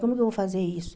Como que eu vou fazer isso?